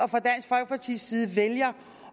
vælger